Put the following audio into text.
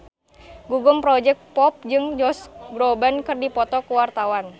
Gugum Project Pop jeung Josh Groban keur dipoto ku wartawan